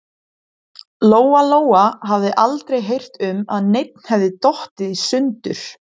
Lóa-Lóa hafði aldrei heyrt um að neinn hefði dottið í sundur.